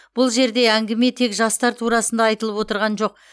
бұл жерде әңгіме тек жастар турасында айтылып отырған жоқ